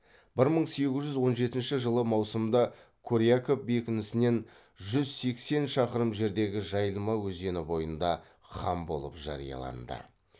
бір мың сегіз жүз он жетінші жылы маусымда коряков бекінісінен жүз сексен шақырым жердегі жайылма өзені бойында хан болып жарияланды